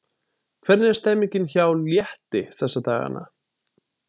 Hvernig er stemningin hjá Létti þessa dagana?